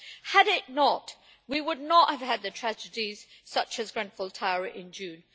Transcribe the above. Had it not, we would not have had the tragedies, such as Grenfell Tower in June.